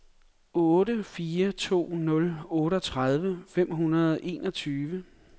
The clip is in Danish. otte fire to nul otteogtredive fem hundrede og enogtyve